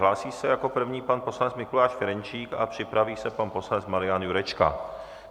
Hlásí se jako první pan poslanec Mikuláš Ferjenčík a připraví se pan poslanec Marian Jurečka.